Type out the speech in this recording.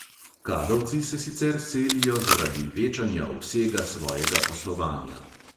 Kadovci se sicer selijo zaradi večanja obsega svojega poslovanja.